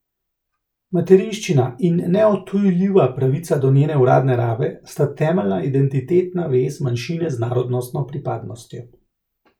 Materinščina in neodtujljiva pravica do njene uradne rabe sta temeljna identitetna vez manjšine z narodnostno pripadnostjo.